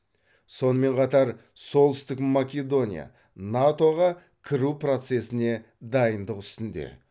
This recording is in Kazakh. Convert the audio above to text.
сонымен қатар солтүстік македония нато ға кіру процесіне дайындық үстінде